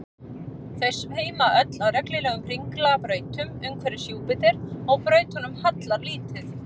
þau sveima öll á reglulegum hringlaga brautum umhverfis júpíter og brautunum hallar lítið